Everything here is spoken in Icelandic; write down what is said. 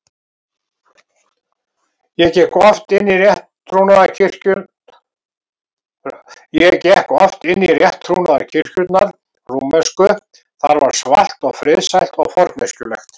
ég gekk oft inn í rétttrúnaðarkirkjurnar rúmensku, þar var svalt og friðsælt og forneskjulegt.